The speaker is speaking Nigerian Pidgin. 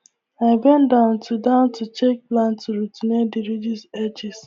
i bend down to down to check plant roots near the ridge edges